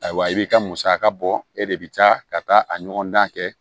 Ayiwa i bi ka musaka bɔ e de bi taa ka taa a ɲɔgɔn dan kɛ